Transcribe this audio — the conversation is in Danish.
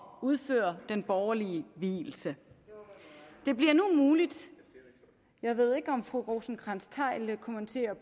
udføre den borgerlige vielse det bliver nu muligt jeg ved ikke om fru rosenkrantz theil kommenterer